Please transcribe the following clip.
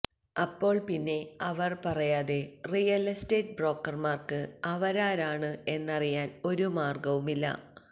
അപ്പോൾ പിന്നെ അവർ പറയാതെ റിയൽ എസ്റ്റേറ്റ് ബ്രോക്കർമാർക്ക് അവരാരാണ് എന്നറിയാൻ ഒരു മാർഗവുമില്ല